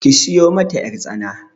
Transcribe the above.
Ki sayo mata ƴartsana.